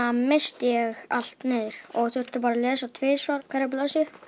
missti ég allt niður og þurfti að að lesa tvisvar hverja blaðsíðu